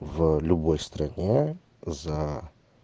в любой стране за